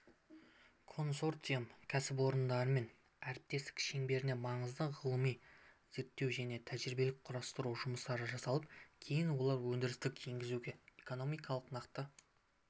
консорциум кәсіпорындарымен әріптестік шеңберінде маңызды ғылыми-зерттеу және тәжірибелік-құрастыру жұмыстары жасалып кейін олар өндіріске енгізілуде экономиканың нақты